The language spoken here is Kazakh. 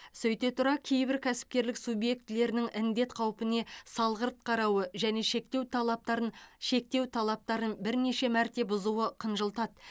сөйте тұра кейбір кәсіпкерлік субъектілерінің індет қаупіне салғырт қарауы және шектеу талаптарын шектеу талаптарын бірнеше мәрте бұзуы қынжылтады